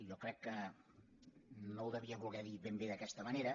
jo crec que no ho devia voler dir ben bé d’aquesta manera